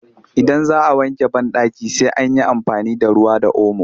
Idan za a wanke banɗaki sai an yi amfani da ruwa da omo